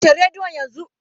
Kashe rediyon yanzu!